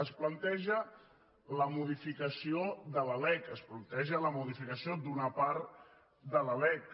es planteja la modificació de la lec es planteja la modificació d’una part de la lec